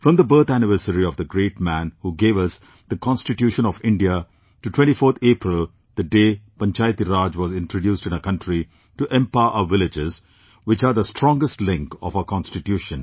From the birth anniversary of the great man who gave us the Constitution of India, to 24th April, the day Panchayati Raj was introduced in our country to empower our villages, which are the strongest link of our Constitution